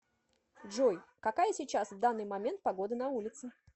джой какая сейчас в данный момент погода на улице